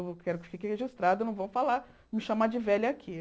Quero que fique registrado, não vão falar, me chamar de velha aqui.